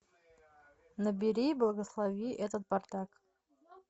набери благослови этот бардак